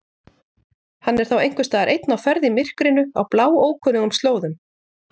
Hann er þá einhversstaðar einn á ferð í myrkrinu á bláókunnugum slóðum.